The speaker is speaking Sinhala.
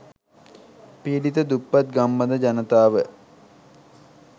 පීඩිත දුප්පත් ගම්බද ජනතාව